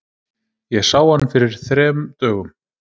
Ég sá hann fyrir þrem dögum.